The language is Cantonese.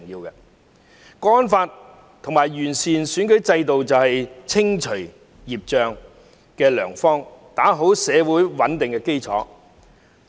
《香港國安法》和完善選舉制度就是清除孽障的良方，打好社會穩定的基礎。